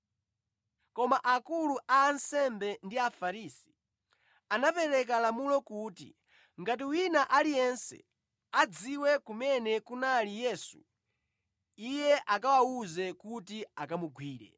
Koma akulu a ansembe ndi Afarisi anapereka lamulo kuti ngati wina aliyense adziwe kumene kunali Yesu, iye akawawuze kuti akamugwire.